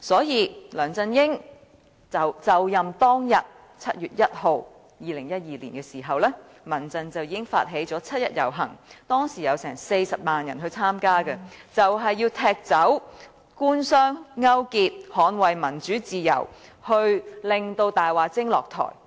因此，在2012年7月1日梁振英就任當天，民間人權陣線已經發起七一遊行，當時有40萬人參加，要踢走官商勾結，捍衞民主自由，令"大話精"下台。